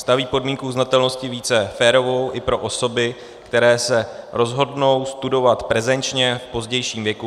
Staví podmínku uznatelnosti více férovou i pro osoby, které se rozhodnou studovat prezenčně v pozdějším věku.